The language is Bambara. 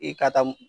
I ka taa